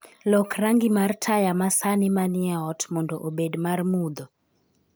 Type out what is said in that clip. Lok rangi mar taya masani manie ot mondo obed mar mudho.